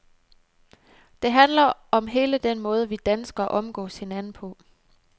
Det handler om hele den måde, vi danskere omgås hinanden på.